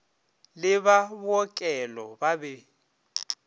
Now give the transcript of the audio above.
le ba bookelo ba be